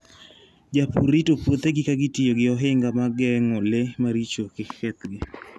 Jopur rito puothegi ka giketo ohinga ma geng'o le maricho kik kethgi.